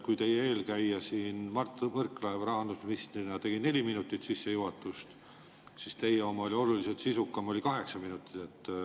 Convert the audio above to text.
Kui teie eelkäija Mart Võrklaev rahandusministrina tegi neli minutit sissejuhatust, siis teie oma oli oluliselt sisukam, oli kaheksa minutit pikk.